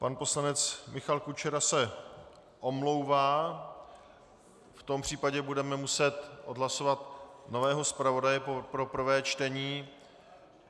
Pan poslanec Michal Kučera se omlouvá, v tom případě budeme muset odhlasovat nového zpravodaje pro prvé čtení.